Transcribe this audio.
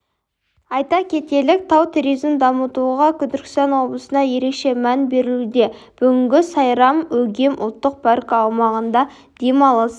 айта кетелік тау туризмін дамытуға түркістан облысында ерекше мән берілуде бүгінге сайрам-өгем ұлттық паркі аумағында демалыс